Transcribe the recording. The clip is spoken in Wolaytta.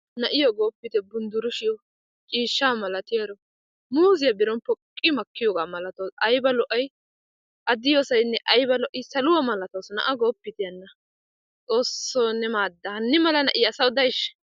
Na'iyo goppite gunddurushiyo, ciishsha malatiyaro. Muuze biron poqqimakiyoga malatawusu. Ayba lo'ay! A de'iyosayne ayba lo'i! Saaluwa malatawusu; na'aa goppite hanna! xoosso ne maadda hannimala na'iya asaawu de'aysha?